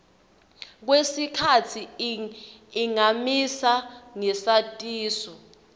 kwesikhatsi ingamisa ngesatiso